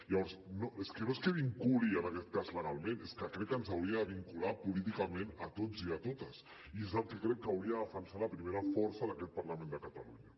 llavors és que no és que ens vinculi en aquest cas legalment és que crec que ens hauria de vincular políticament a tots i a totes i és el que crec que hauria de defensar la primera força d’aquest parlament de catalunya